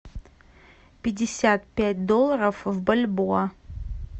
пятьдесят пять долларов в бальбоа